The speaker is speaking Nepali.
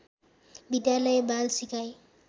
विद्यालय बाल सिकाइ